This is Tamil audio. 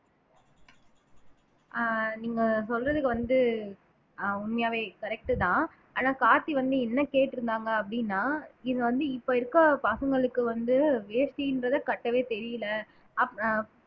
ஆஹ் நீங்க சொல்றதுக்கு வந்து ஆஹ் உண்மையாவே correct தான் ஆனா கார்த்தி வந்து என்ன கேட்டு இருந்தாங்க அப்படின்னா இது வந்து இப்ப இருக்க பசங்களுக்கு வந்து வேஷ்டின்றதை கட்டவே தெரியலே அப்ப அஹ்